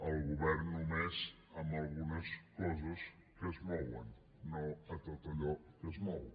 el govern només en algunes coses que es mouen no a tot allò que es mou